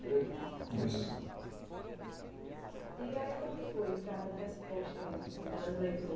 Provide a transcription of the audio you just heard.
descreveu. É isso? Isso. E aí, como foi, Ricardo, a resposta mesmo, assim, das